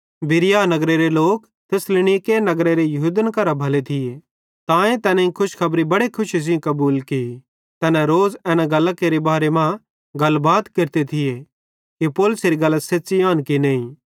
बिरीया नगरेरे लोक थिस्सलुनीके नगरेरे यहूदन करां भले थिये तांए तैनेईं खुशखबरी बेड़ि खुशी सेइं कबूल की तैना रोज़ एना गल्लां केरे बारे मां गलबात केरते थिये कि पौलुसेरी गल्लां सेच़्च़ी आन कि नईं